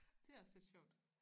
Det også lidt sjovt